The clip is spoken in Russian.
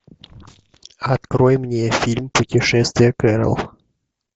открой мне фильм путешествие кэрол